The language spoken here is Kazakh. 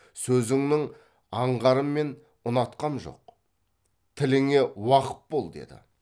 сөзіңнің аңғарын мен ұнатқам жоқ тіліңе уақып бол деді